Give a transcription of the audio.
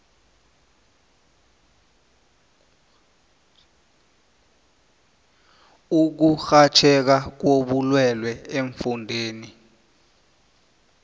ukurhatjheka kobulwele eemfundeni